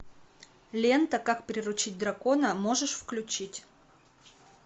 лента как приручить дракона можешь включить